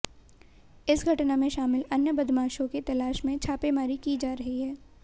इस घटना में शामिल अन्य बदमाशों की तलाश में छापेमारी की जा रही है